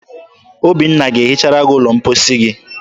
Obinna ga-ehichara gị ụlọ mposi gị.